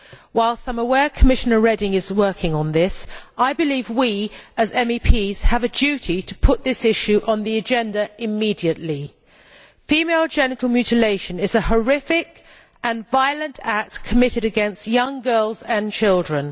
Whilst I am aware that Commissioner Reding is working on this, I believe we, as MEPs, have a duty to put this issue on the agenda immediately. Female genital mutilation is a horrific and violent act committed against young girls and children.